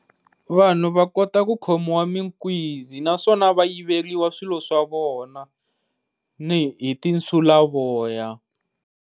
Vanhu va kota ku khomiwa minkuzi naswona va yiveriwa swilo swa vona ni hi ti nsulavoya.